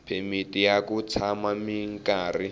phemiti ya ku tshama minkarhi